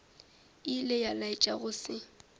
ilego a laetša go se